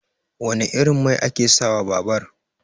Wane irin mai ake sa wa babar?